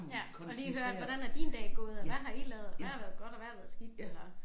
Ja at lige høre hvordan er din dag gået og hvad har I lavet og hvad har været godt og hvad har været skidt eller